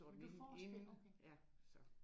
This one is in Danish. Men du forspirer? Okay